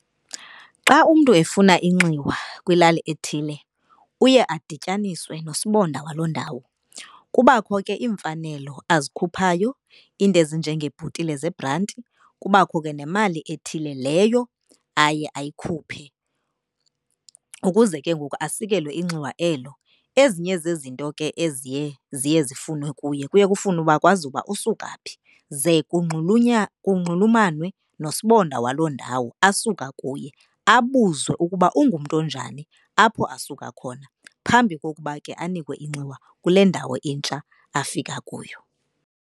Xa umntu efuna inxiwa kwilali ethile uye adityaniswe nosibonda waloo ndawo. Kubakho ke iimfanelo azikhuphayo, iinto ezinjengeebhotile zebhranti, kubakho ke nemali ethile leyo aye ayikhuphe ukuze ke ngoku asikelwe inxiwa elo. Ezinye zezinto ke eziye ziye zifunwe kuye kuye kufunwe uba kwazi ukuba usuka phi. Ze kunxulumanwe nosibonda waloo ndawo asuka kuye, abuzwe ukuba ungumntu onjani apho asuka khona phambi kokuba ke anikwe inxiwa kule ndawo intsha afika kuyo.